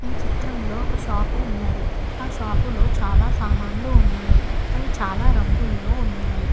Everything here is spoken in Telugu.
చిత్రంలో ఒక షాపు ఉన్నది ఆ షాపులో చాలా సామాన్లు ఉన్నాయి అవి చాలా రంగుల్లో ఉన్నాయి.